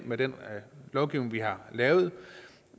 med den lovgivning vi har lavet